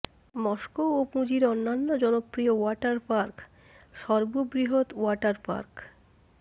Moscow ও পুঁজির অন্যান্য জনপ্রিয় ওয়াটার পার্ক সর্ববৃহৎ ওয়াটার পার্ক